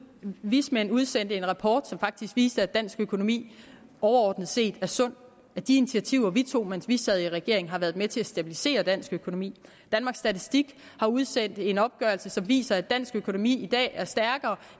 vismænd udsendte en rapport som faktisk viser at dansk økonomi overordnet set er sund at de initiativer vi tog mens vi sad i regering har været med til at stabilisere dansk økonomi danmarks statistik har udsendt en opgørelse som viser at dansk økonomi i dag er stærkere